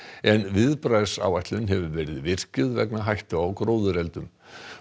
en viðbragðsáætlun hefur verið virkjuð vegna hættu á gróðureldum